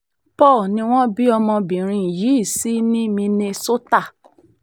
paul ni wọ́n bí ọmọbìnrin yìí sí ní minnesota